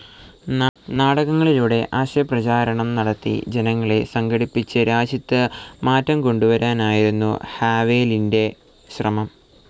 നാടകങ്ങളിലൂടെ ആശയപ്രചാരണം നടത്തി ജനങ്ങളെ സംഘടിപ്പിച്ച് രാജ്യത്ത് മാറ്റംകൊണ്ടുവരാനായിരുന്നു ഹവേലിന്റെ ശ്രമം.